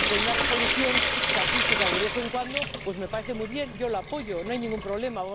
Y una Resolución casuística de vez en cuando, pues, me parece muy bien yo la apoyo, no hay ningún problema.